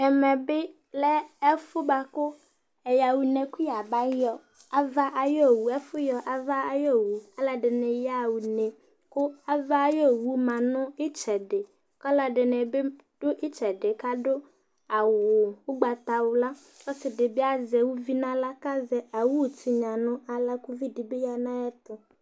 ɛmɛ bɩ lɛ ɛfʊɛ bakʊ ɛyaha ʊne kʊ yabayɔ ava yowʊ ɔlɔ dɩnɩ yaha ʊne owʊ ma nʊ ɩtsɛdɩ kʊ alʊ nɩbɩ kɔ nʊ ɛfɛ adʊ awʊ ʊgbata wla ɔlɔ azɛ ʊʋɩ nʊ ahla kʊ ʊʋɩ dɩbɩ yanʊ ayɛtʊ